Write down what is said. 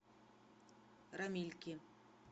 рамильки